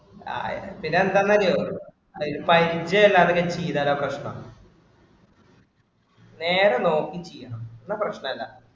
ആഹ് പിന്നെ എന്താന്നറിയുവോ ഇത് five G അല്ലാതൊക്കെ ചെയ്താലാ പ്രശ്‍നം. നേരെ നോക്കി ചെയ്യണം എന്നാ പ്രശ്‍നം ഇല്ല.